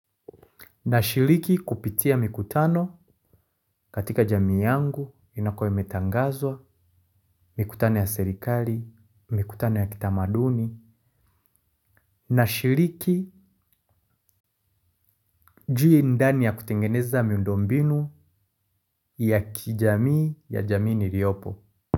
Na shiriki kupitia mikutano katika jamii yangu inakuwa imetangazwa, mikutano ya serikali, mikutano ya kitamaduni, nashiriki juu indani ya kutengeneza miundo mbinu ya kijamii ya jamii niriopo.